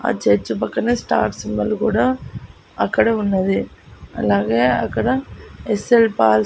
ఆ చర్చ్ పక్కన star symbol కూడా అక్కడ ఉన్నది. అలాగే అక్కడ యస్_ఎల్ పాల్ --